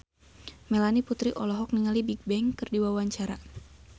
Melanie Putri olohok ningali Bigbang keur diwawancara